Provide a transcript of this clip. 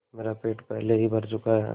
मेरा पेट पहले ही भर चुका है